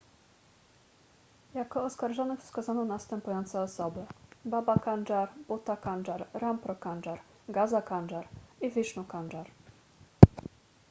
jako oskarżonych wskazano następujące osoby baba kanjar bhutha kanjar rampro kanjar gaza kanjar i vishnu kanjar